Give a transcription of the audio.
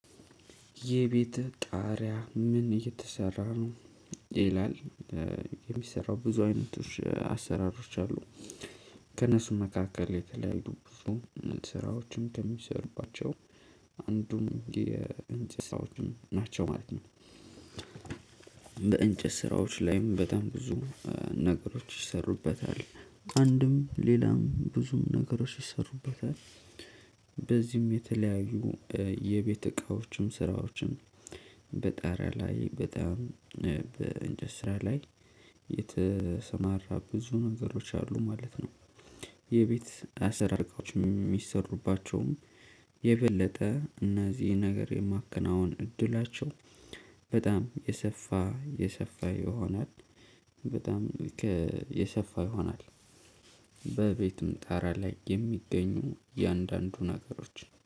የቤትህ ጣሪያ ምን እየተሰራ ነው? ይላል የሚሰራው ብዙ አይነቶች አሰራሮች አሉ ከእነሱ መካከል የተለያዩ ብዙ ስራዎችም ከሚሰሩባቸው አንዱም የእንጨት ስራዎችን ናቸው ማለት ነው። በእንጨት ስራዎች ላይም በጣም ብዙ ነገሮች ይሰሩበታል። አንድም ሌላም ብዙም ነገሮች ይሰሩበታል። በዚህም የተለያዩ የቤት እቃዎችም ስራዎችም በጣሪያ ላይ በጣም በንጨት ስራ ላይ የተሰማራ ብዙ ነገሮች አሉ ማለት ነው። የቤት አሰራርቃዎች የሚሰሩባቸውም የበለጠ እነዚህ ነገር የማከናውን እድላቸው በጣም የሰፋ የሰፋ ይሆናል። በጣም የሰፋ ይሆናል። በቤቱም ጣራ ላይ የሚገኙ የአንዳንዱ ነገሮች